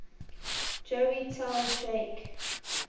joey tell jake